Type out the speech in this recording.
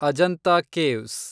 Ajanta caves